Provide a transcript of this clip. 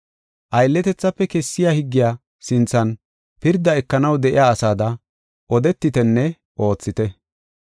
Aylletethafe kessiya higgiya sinthan pirda ekanaw de7iya asada odetitenne oothite.